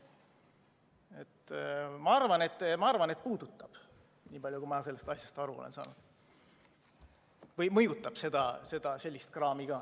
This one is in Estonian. Ma arvan, niipalju, kui ma sellest asjast aru olen saanud, et puudutab või mõjutab sellist kraami ka.